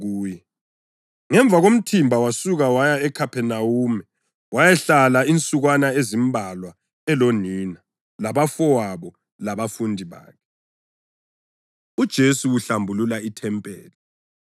Ngemva komthimba wasuka waya eKhaphenawume wayahlala insukwana ezimbalwa elonina, labafowabo labafundi bakhe. UJesu Uhlambulula IThempeli